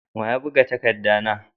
Wa ya buga takadda na?